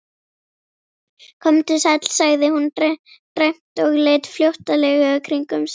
Komdu sæll, sagði hún dræmt og leit flóttalega kringum sig.